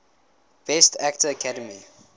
best actor academy